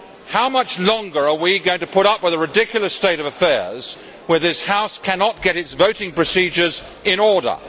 How much longer are we going to put up with the ridiculous state of affairs where this House cannot get its voting procedures in order?